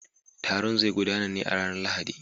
Taron zai gudana ne a ranar Lahadi.